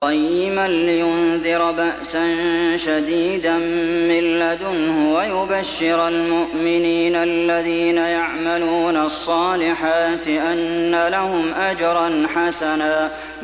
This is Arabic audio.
قَيِّمًا لِّيُنذِرَ بَأْسًا شَدِيدًا مِّن لَّدُنْهُ وَيُبَشِّرَ الْمُؤْمِنِينَ الَّذِينَ يَعْمَلُونَ الصَّالِحَاتِ أَنَّ لَهُمْ أَجْرًا حَسَنًا